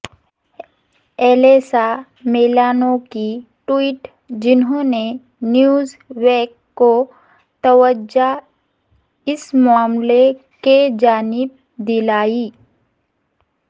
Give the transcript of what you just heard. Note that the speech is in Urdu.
الیسا میلانو کی ٹویٹ جنہوں نے نیوز ویک کو توجہ اس معاملے کی جانب دلائی